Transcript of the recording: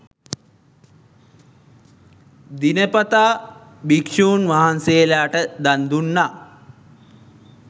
දිනපතා භික්ෂූන් වහන්සේලාට දන් දුන්නා.